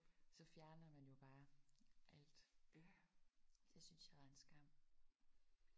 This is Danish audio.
Så fjerner man jo bare alt. Det syntes jeg var en skam